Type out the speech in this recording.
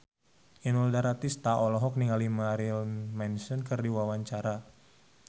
Inul Daratista olohok ningali Marilyn Manson keur diwawancara